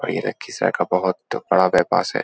और ये लखीसराए का बहुत बड़ा बाईपास है।